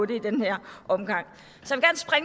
den her omgang